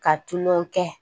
Ka tulon kɛ